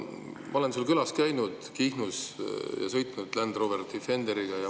Ma olen sul külas käinud Kihnus ja sõitnud Land Rover Defenderiga.